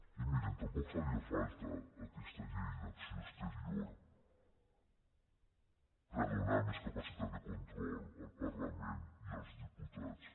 i mirin tampoc faria falta aquesta llei d’acció exterior per donar més capacitat de control al parlament i als diputats